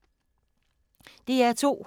DR2